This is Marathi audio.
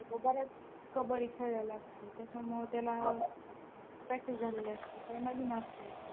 तो बऱ्याच कबड्डी खेळलेला असतो त्याच्यामुळं त्याला practice झालेली असते. काही नवीन असत्यात.